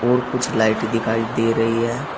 और कुछ लाइट दिखाई दे रही है।